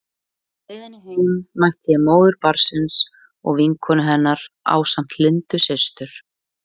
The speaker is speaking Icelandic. Á leiðinni heim mætti ég móður barnsins og vinkonu hennar ásamt Lindu systur.